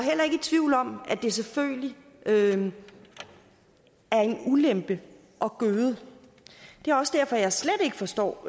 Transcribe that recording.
det selvfølgelig er en ulempe at gøde det er også derfor jeg slet ikke forstår